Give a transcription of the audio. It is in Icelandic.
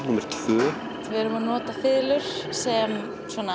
númer tvö við erum að nota fiðlur sem